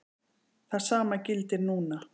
Það sama gildir núna.